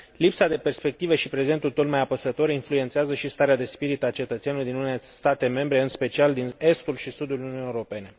Lipsa de perspectivă și prezentul tot mai apăsător influențează și starea de spirit a cetățenilor din unele state membre, în special din estul și sudul Uniunii Europene.